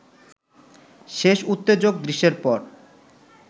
শেষ উত্তেজক দৃশ্যের পর